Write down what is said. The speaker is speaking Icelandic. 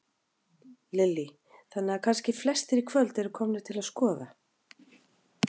Lillý: Þannig að kannski flestir í kvöld eru komnir til að skoða?